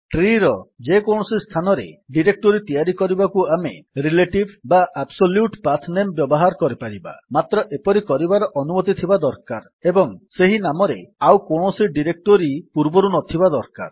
ଟ୍ରୀର ଯେକୌଣସି ସ୍ଥାନରେ ଡିରେକ୍ଟୋରୀ ତିଆରି କରିବାକୁ ଆମେ ରିଲେଟିଭ୍ ବା ଆବ୍ସୋଲ୍ୟୁଟ୍ ପାଥନେମ୍ ବ୍ୟବହାର କରିପାରିବା ମାତ୍ର ଏପରି କରିବାର ଅନୁମତି ଥିବା ଏବଂ ସେହି ନାମରେ ଆଉ କୌଣସି ଡିରେକ୍ଟୋରୀ ପୂର୍ବରୁ ନଥିବା ଦରକାର